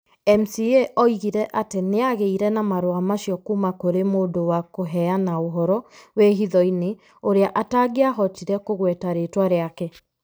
MCA oigire atĩ nĩ aagĩire na marũa macio kuuma kũrĩ mũndũ wa kũheana ũhoro wĩ hitho-inĩ ũrĩa atangĩahotire kũgweta rĩĩtwa rĩake.